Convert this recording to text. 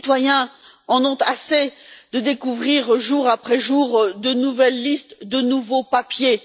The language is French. Les citoyens en ont assez de découvrir jour après jour de nouvelles listes, de nouveaux papiers.